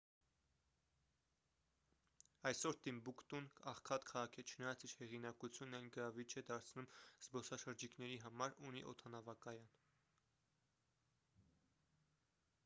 այսօր տիմբուկտուն աղքատ քաղաք է չնայած իր հեղինակությունն այն գրավիչ է դարձնում զբոսաշրջիկների համար ունի օդանավակայան